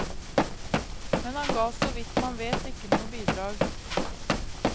Men han ga såvidt man vet ikke noe bidrag.